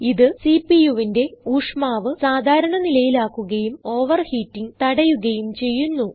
ഇത് CPUവിന്റെ ഊഷ്മാവ് സാധാരണ നിലയിലാക്കുകയും ഓവർഹീറ്റിങ് തടയുകയും ചെയ്യുന്നു